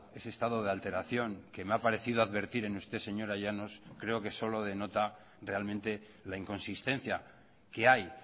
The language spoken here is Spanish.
ese estado de alteración que me ha parecido advertir en usted señora llanos creo que solo denota realmente la inconsistencia que hay